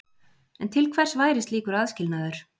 En til hvers væri slíkur aðskilnaður?